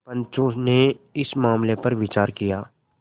पंचो ने इस मामले पर विचार किया